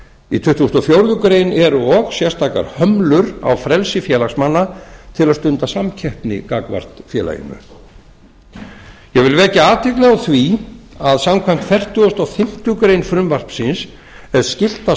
í tuttugasta og fjórðu grein eru og sérstakar hömlur á frelsi félagsmanna til að stunda samkeppni gagnvart félaginu ég vil vekja athygli á því að samkvæmt fertugustu og fimmtu grein frumvarpsins er skylt að